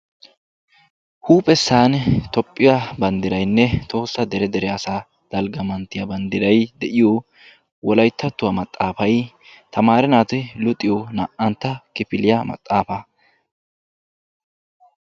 Huuphphessani toophphiyan banddiraynne tohossa dere dere asa dalga manttiyaa banddiray de'iyo wolayttattuwaa maxaafaay tamaare naati luxiyo na'antta kifiliyaa maxaafaa.